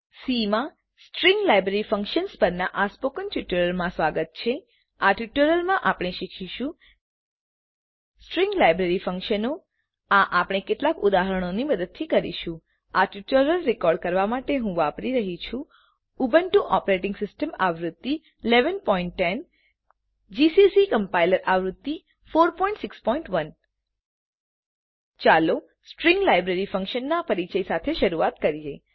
C માં string library functions પરનાં spoken ટ્યુટોરીયલમાં સ્વાગત છે આ ટ્યુટોરીયલમાં આપણે શીખીશું સ્ટ્રીંગ લાઈબ્રેરી ફંકશનો આ આપણે કેટલાક ઉદાહરણોની મદદથી કરીશું આ ટ્યુટોરીયલ રેકોર્ડ કરવાં માટે હું વાપરી રહ્યી છું ઉબુન્ટુ ઓપરેટીંગ સીસ્ટમ આવૃત્તિ ૧૧૧૦ જીસીસી કમ્પાઈલર આવૃત્તિ ૪૬૧ ચાલો સ્ટ્રીંગ લાઈબ્રેરી ફંકશનો નાં પરિચય સાથે શરૂઆત કરીએ